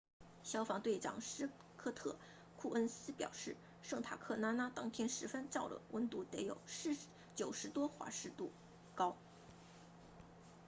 消防队长斯科特库恩斯表示圣塔克拉拉当天十分燥热温度得有90多华氏度高